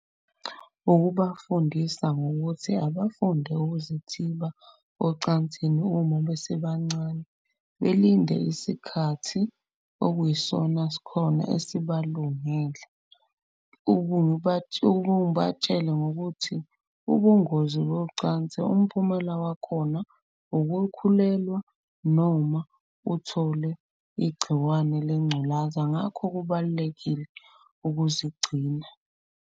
Ukubafundisa ngokuthi abafunde ukuzithiba ocansini uma besebancane, belinde isikhathi okuyisona skhona esibalungele. Ubatshele ngokuthi ubungozi bocansi umphumela wakhona ukukhulelwa noma uthole igciwane lengculaza. Ngakho kubalulekile ukuzigcina.